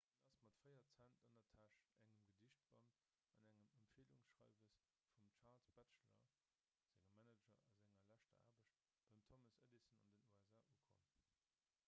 hien ass mat 4 cent an der täsch engem gedichtband an engem empfielungsschreiwes vum charles batchelor sengem manager a senger leschter aarbecht beim thomas edison an den usa ukomm